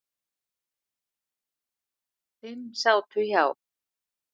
Fimm sátu hjá.